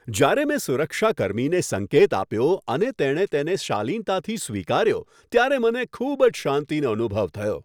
જ્યારે મેં સુરક્ષા કર્મીને સંકેત આપ્યો અને તેણે તેને શાલીનતાથી સ્વીકાર્યો ત્યારે મને ખૂબ જ શાંતિનો અનુભવ થયો.